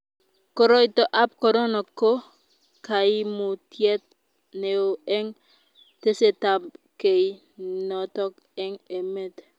koroito ab korona ko kaimutiet neo eng tesetab kei noton ab emet